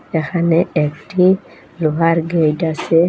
এখানে একটি লোহার গেট আসে।